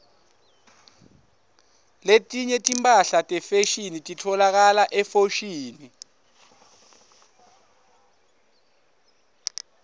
letinye timphahla tefashini titfolakala efoshini